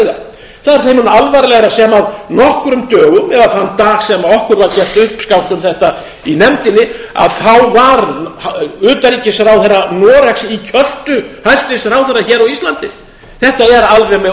það það er þeim mun alvarlegra sem nokkrum dögum eða þann dag sem okkur var gert uppskátt um þetta í nefndinni að þá var utanríkisráðherra noregs í kjöltu hæstvirts ráðherra hér á íslandi þetta er alveg með